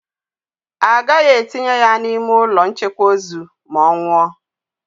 Agaghị etinye ya n'ime ụlọ nchekwa ozu ma ọ nwụọ.